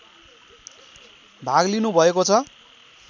भाग लिनुभएको छ